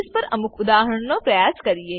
પર અમુક ઉદાહરણ નો પ્રયાસ કરીએ